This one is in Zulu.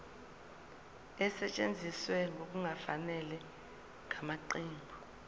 esetshenziswe ngokungafanele ngamaqembu